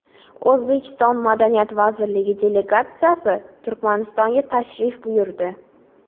O‘zbekiston Madaniyat vazirligi delegatsiyasi Turkmanistonga tashrif buyurdi.